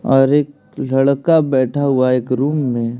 और एक लड़का बैठा हुआ हैं एक रूम में --